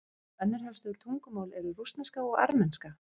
önnur helstu tungumál eru rússneska og armenska